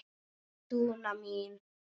Dúna mín.